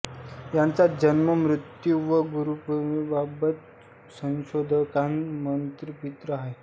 यांचा जन्म मृत्यू व गुरुपरंपरेबाबत संशोधकांत मतभिन्नता आहे